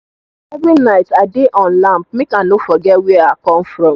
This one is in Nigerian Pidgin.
every night i dey on lamp make i no forget where i come from